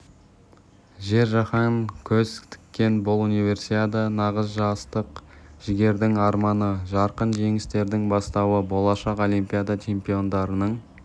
жер жаһан көз тіккен бұл универсиада нағыз жастық жігердің арманы жарқын жеңістердің бастауы болашақ олимпиада чемпиондарының